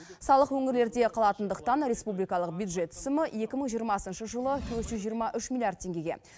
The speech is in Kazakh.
салық өңірлерде қалатындықтан республикалық бюджет түсімі екі мың жиырмасыншы жылы төрт жүз жиырма үш миллиард теңгеге